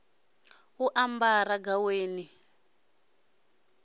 u ambara gaweni ḽa u